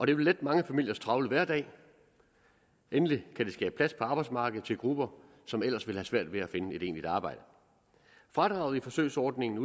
det vil lette mange familiers travle hverdag og endelig kan det skabe plads på arbejdsmarkedet til grupper som ellers ville have svært ved at finde et egentligt arbejde fradraget i forsøgsordningen